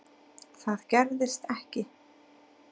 Það gerðist ekki.